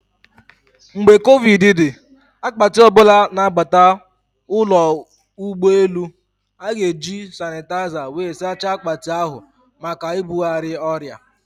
Mgbe covid dị, akpati ọbụla na abata ụlọ ụgbọ elu, a-ga eji sanịtaịza wee saachaa akpati ahụ maka ibugharị ọrịa